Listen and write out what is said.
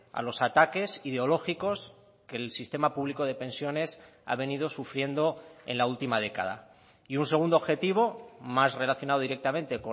a los ataques ideológicos que el sistema público de pensiones ha venido sufriendo en la última década y un segundo objetivo más relacionado directamente